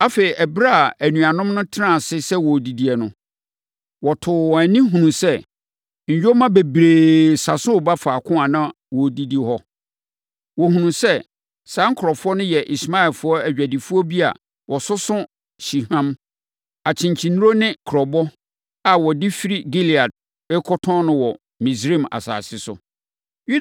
Afei, ɛberɛ a anuanom no tenaa ase sɛ wɔredidi no, wɔtoo wɔn ani hunuu sɛ nyoma bebree sa so reba faako a na wɔrebɛdidi hɔ no. Wɔhunuu sɛ saa nkurɔfoɔ no yɛ Ismaelfoɔ adwadifoɔ bi a wɔsoso hyehwam, akyenkyennuro ne kurobo a wɔde firi Gilead rekɔtɔn no wɔ Misraim asase so.